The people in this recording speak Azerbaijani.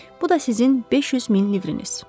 Bu da sizin 500 min livriniz.